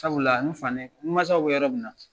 Sabula la n fanɛ, n mansasaw bɛ yɛrɛ min na.